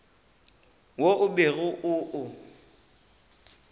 wo o bego o o